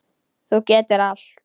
Þú getur allt.